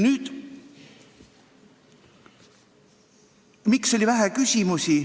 Nüüd aga sellest, miks oli vähe küsimusi.